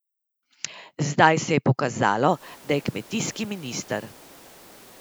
Zdaj se je pokazalo, da je kmetijski minister.